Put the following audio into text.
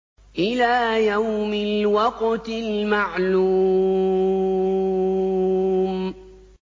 إِلَىٰ يَوْمِ الْوَقْتِ الْمَعْلُومِ